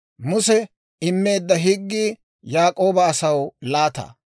Muse immeedda higgii Yaak'ooba asaw laata.